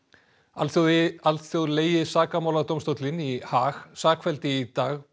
alþjóðlegi alþjóðlegi sakamáladómstóllinn í Haag sakfelldi í dag